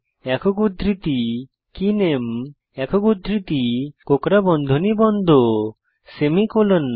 একক উদ্ধৃতি কেনামে একক উদ্ধৃতি কোঁকড়া বন্ধনী বন্ধ সেমিকোলন